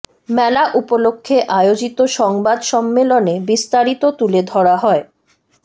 মেলা উপলক্ষে আয়োজিত সংবাদ সম্মেলনে বিস্তারিত তুলে ধরা হয়